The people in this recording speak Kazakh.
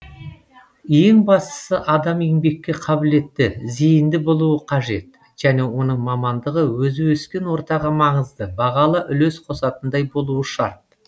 ең бастысы адам еңбекке қабілетті зейінді болуы қажет және оның мамандығы өзі өскен ортаға маңызды бағалы үлес қосатындай болуы шарт